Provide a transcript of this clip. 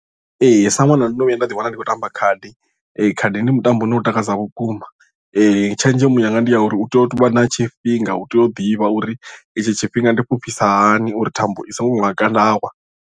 Ee sa ṅwana ndo no vhuya nda ḓiwana ndi khou tamba khadi khadi ndi mutambo une u takadza vhukuma tshenzhemo yanga ndi ya uri u tea u tovha na tshifhinga u tea u ḓivha uri itshi tshifhinga ndi fhufhisa hani uri thambo i songo nhaka nda wa.